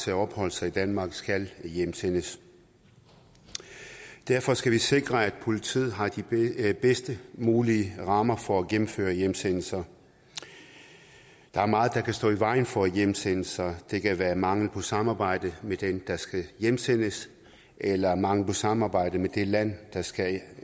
til at opholde sig i danmark skal hjemsendes derfor skal vi sikre at politiet har de bedst mulige rammer for at gennemføre hjemsendelser der er meget der kan stå i vejen for hjemsendelser det kan være mangel på samarbejde med den der skal hjemsendes eller mangel på samarbejde med det land der skal